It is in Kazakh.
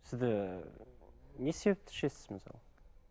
сізді не себепті ішесіз мысалға